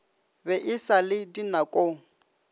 be e sa le dinakong